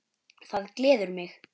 Það gleður mig.